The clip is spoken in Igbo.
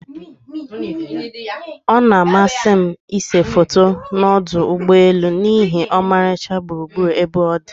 Ọ na-amasị m ịse foto na ọdụ ụgbọelu n'ihi ọmarịcha gburugburu ebe ọdi.